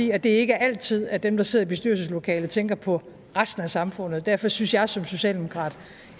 i at det ikke er altid at dem der sidder i bestyrelseslokalet tænker på resten af samfundet derfor synes jeg som socialdemokrat